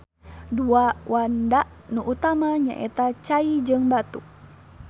Dua wanda nu utama nyaeta cai jeung batu